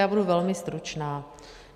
Já budu velmi stručná.